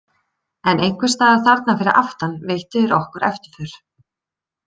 En einhvers staðar þarna fyrir aftan veittu þeir okkur eftirför.